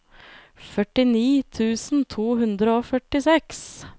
førtini tusen to hundre og førtiseks